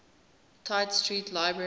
tite street library